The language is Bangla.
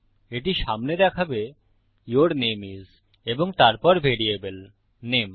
এটি সামনে দেখাবে ইউর নামে আইএস এবং তারপর ভ্যারিয়েবল নামে